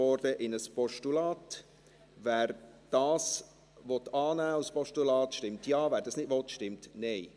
Wer diesen als Postulat annehmen will, stimmt Ja, wer das nicht will, stimmt Nein.